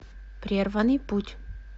прерванный путь